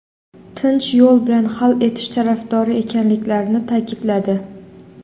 tinch yo‘l bilan hal etish tarafdori ekanliklarini ta’kidladi.